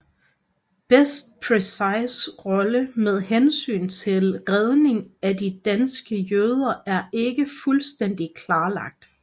Bests præcise rolle med hensyn til Redningen af de danske jøder er ikke fuldstændig klarlagt